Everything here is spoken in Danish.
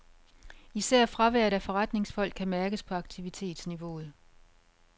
Især fraværet af forretningsfolk kan mærkes på aktivitetsniveauet.